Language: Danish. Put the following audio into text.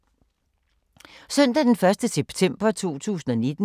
Søndag d. 1. september 2019